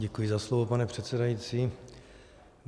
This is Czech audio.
Děkuji za slovo, pane předsedající.